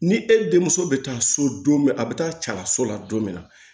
Ni e denmuso bɛ taa so don min a bɛ taa cala so la don min na